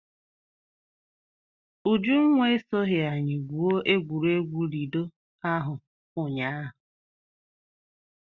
Ujunwa esoghi anyị gwuo egwuregwu Lido ahụ ụnyaahụ.